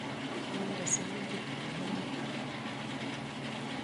Kemande sang buch amune?